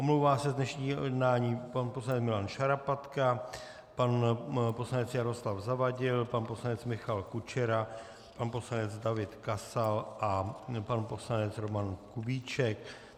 Omlouvá se z dnešního jednání pan poslanec Milan Šarapatka, pan poslanec Jaroslav Zavadil, pan poslanec Michal Kučera, pan poslanec David Kasal a pan poslanec Roman Kubíček.